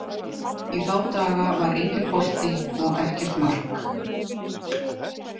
Í þá daga var enginn bolti og ekkert mark.